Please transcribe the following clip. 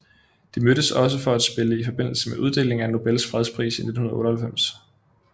De mødtes også for at spille i forbindelse med uddelingen af Nobels fredspris i 1998